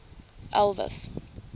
elvis